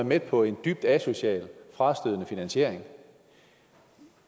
med på en dybt asocial frastødende finansiering